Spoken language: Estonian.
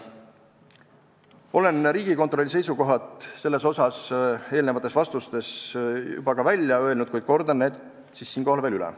" Olen Riigikontrolli seisukohad selles osas täna juba välja öelnud, kuid kordan need veel üle.